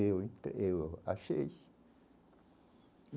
Eu eu achei.